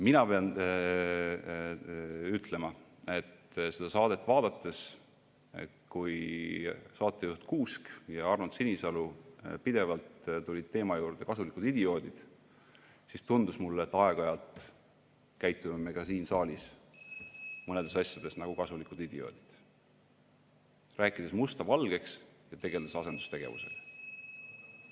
Mina pean ütlema, et seda saadet vaadates, kui saatejuht Kuusk ja Arnold Sinisalu pidevalt tulid teema "Kasulikud idioodid" juurde, tundus mulle, et aeg-ajalt käitume me ka siin saalis mõnedes asjades nagu kasulikud idioodid, rääkides musta valgeks ja tegeledes asendustegevusega.